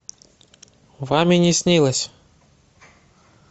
вам и не снилось